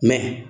Mɛ